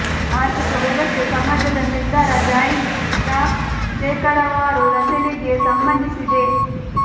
ಆರ್ಥಿಕ ವ್ಯವಸ್ಥೆ ಸಮಾಜದ ನಿರ್ಧಾರ ಜಾಯಿಂಟ್ ಸ್ಟಾಕ್ ಶೇಕಡಾವಾರು ರಚನೆಗೆ ಸಂಬಂಧಿಸಿದೆ